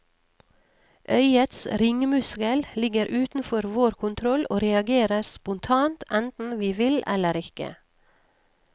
Øyets ringmuskel ligger utenfor vår kontroll og reagerer spontant enten vi vil eller ikke.